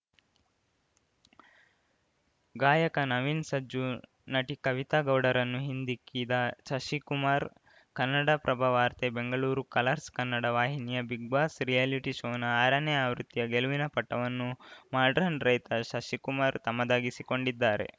ಗಾಯಕ ನವೀನ್‌ ಸಜ್ಜು ನಟಿ ಕವಿತಾ ಗೌಡರನ್ನು ಹಿಂದಿಕ್ಕಿದ ಶಶಿಕುಮಾರ್‌ ಕನ್ನಡಪ್ರಭವಾರ್ತೆ ಬೆಂಗಳೂರು ಕಲರ್ಸ್‌ ಕನ್ನಡ ವಾಹಿನಿಯ ಬಿಗ್‌ ಬಾಸ್‌ ರಿಯಾಲಿಟಿ ಶೋನ ಆರನೇ ಆವೃತ್ತಿಯ ಗೆಲುವಿನ ಪಟ್ಟವನ್ನು ಮಾಡ್ರನ್‌ ರೈತ ಶಶಿಕುಮಾರ್‌ ತಮ್ಮದಾಗಿಸಿಕೊಂಡಿದ್ದಾರೆ